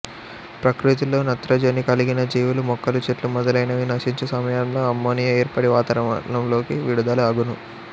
ప్రకృతిలో నత్రజని కలిగిన జీవులు మొక్కలు చెట్లు మొదలైనవి నశించు సమయంలో అమ్మోనియా ఏర్పడి వాతావరణంలోకి విడుదల అగును